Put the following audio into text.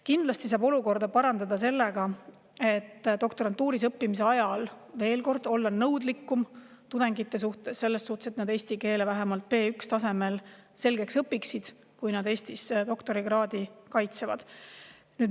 Kindlasti saab olukorda parandada sellega, et olla doktorantuuris õppivate tudengite suhtes nõudlikum, et nad eesti keele vähemalt B1-tasemel selgeks õpiksid, kui nad Eestis doktorikraadi kaitsevad.